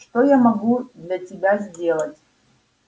что я могу для тебя сделать